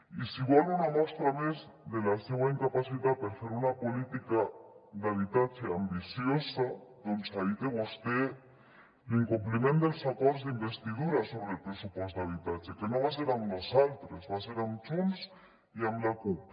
i si vol una mostra més de la seua incapacitat per fer una política d’habitatge ambiciosa doncs aquí té vostè l’incompliment dels acords d’investidura sobre el pressupost d’habitatge que no va ser amb nosaltres va ser amb junts i amb la cup